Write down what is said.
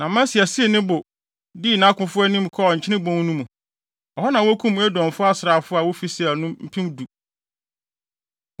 Na Amasia sii ne bo, dii nʼakofo anim, kɔɔ Nkyene Bon no mu. Ɛhɔ na wokum Edomfo asraafo a wofi Seir no mpem du.